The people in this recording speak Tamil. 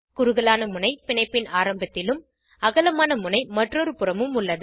குறுகலான முனை பிணைப்பின் ஆரம்பத்திலும் அகலமான முனை மற்றொரு புறமும் உள்ளது